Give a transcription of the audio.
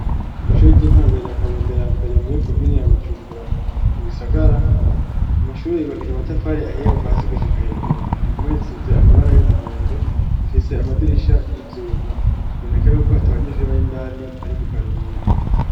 Kw'ishor ry'intangoye ryakabondo ya mbere muri komini ya bujumbura mu gisagara amashuri yubakije umatafari ahiye kuvasi gushika hejuru impumetsize amabara y'umuhondo rifise amadirisha y'ivyuma boneka yuko hatabanyishuri bay'indani bari mu karuhuko.